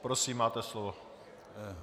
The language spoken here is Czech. Prosím, máte slovo.